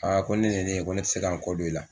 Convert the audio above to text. ko ni nin ye ne ko ne ti se ka n kɔ don i la.